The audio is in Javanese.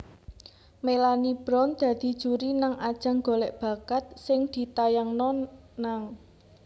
Melanie Brown dadi juri nang ajang golek bakat sing ditayangno nang